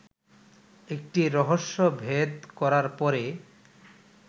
একটি রহস্যভেদ করার পরে